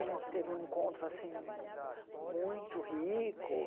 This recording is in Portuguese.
A gente teve um encontro assim muito rico.